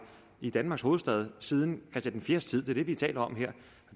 i danmarks hovedstad siden christian ivs tid det er det vi taler om her